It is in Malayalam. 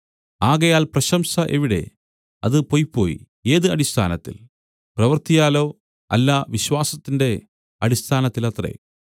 ആകയാൽ പ്രശംസ എവിടെ അത് പൊയ്പോയി ഏത് അടിസ്ഥാനത്തിൽ പ്രവൃത്തിയാലോ അല്ല വിശ്വാസത്തിന്റെ അടിസ്ഥാനത്തിലത്രെ